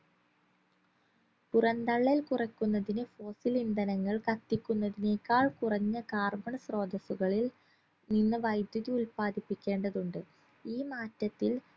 പുറംതള്ളൽ കുറക്കുന്നതിന് fossil ഇന്ധനങ്ങൾ കത്തിക്കുന്നതിനേക്കാൾ കുറഞ്ഞ carbon സ്രോതസ്സുകളിൽ നിന്ന് വൈദ്യുതി ഉത്പാദിപ്പിക്കേണ്ടതുണ്ട് ഈ മാറ്റത്തിൽ